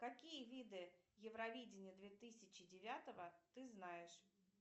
какие виды евровидения две тысячи девятого ты знаешь